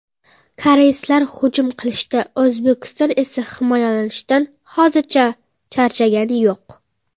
Koreyslar hujum qilishdan O‘zbekiston esa himoyalanishdan hozircha charchagani yo‘q.